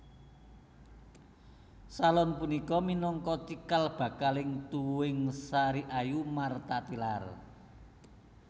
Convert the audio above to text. Salon punika minangka cikal bakaling tuwuhing Sariayu Martha Tilaar